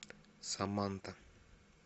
саманта